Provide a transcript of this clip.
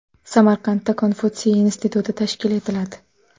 Samarqandda Konfutsiy instituti tashkil etiladi.